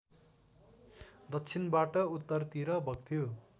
दक्षिणबाट उत्तरतिर बग्थ्यो